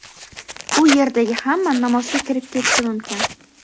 u yerdagi hamma namozga kirib ketishi mumkin.